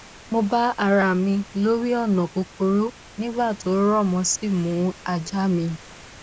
mo bára mi lórí ònà kúkúrú nígbà tó rọ mo sì mú ajá mi